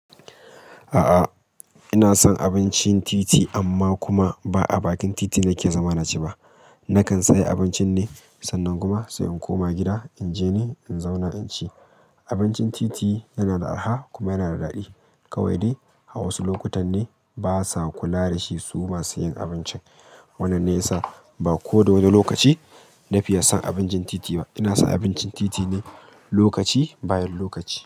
A'a, ina son abincin titi amma kuma ba a bakin titi ne ke zama na ci ba. Nakan saya abincin ne, sannan kuma sai in koma gida in je ni in zauna in ci. Abincin titi yana da araha kuma yana da daɗi. Kawai dai a wasu lokutan ne basa kula da shi su masu yin abincin. Wannan ne yasa ba koda wani lokaci na fiya son abincin titi ba. Ina son abincin titi ne lokaci bayan lokaci.